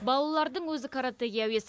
балалардың өзі каратэге әуес